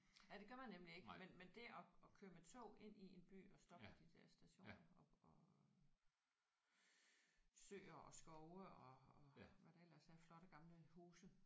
Ja det gør man nemlig ikke men men det at at køre med tog ind i en by og stoppe ved de der stationer og og søer og skove og og hvad der ellers er flotte gamle huse